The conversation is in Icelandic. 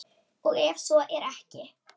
Og ef svo er ekki?